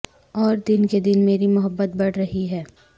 اور دن کے دن میری محبت بڑھ رہی ہے